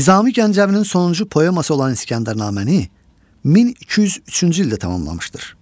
Nizami Gəncəvinin sonuncu poeması olan İskəndərnaməni 1203-cü ildə tamamlamışdır.